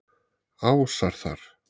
Ásar þar.